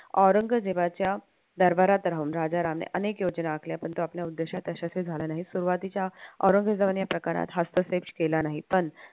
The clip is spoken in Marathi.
औरंगजेबाच्या दरबारात राहून राजा रामराय यांनी अनेक योजना आखल्या परंतु आपल्या उद्देशात यशस्वी झाल्या नाही सुरुवातीच्या औरंगजेबाने प्रकारात हस्तक्षेप केला नाही पण